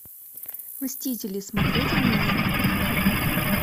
мстители смотреть онлайн